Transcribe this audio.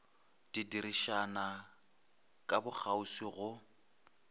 di dirišana ka bokgauswi go